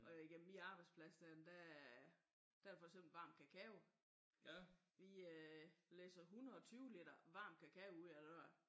Og igennem min arbejdsplads der er der er der for eksempel varm kakao. Vi læsser 120 liter varm kakao ud af døren